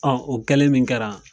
o kɛlen min kɛra.